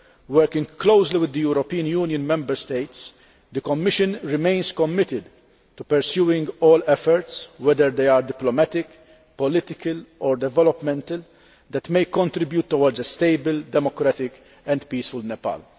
Working closely with the European Union Member States, the Commission remains committed to pursuing all efforts, whether they are diplomatic, political or developmental, that may contribute towards a stable, democratic and peaceful Nepal.